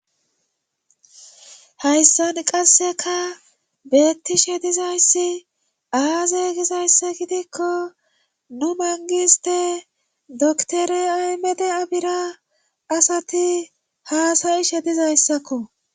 Hayssan qasseka beettishe dizayssi aaze gizayssi gidikko nu mangiste doktore aymede abira asati haasayishedizayssakko.